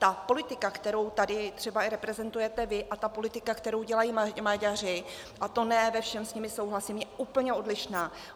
Ta politika, kterou tady třeba i reprezentujete vy, a ta politika, kterou dělají Maďaři, a to ne ve všem s nimi souhlasím, je úplně odlišná.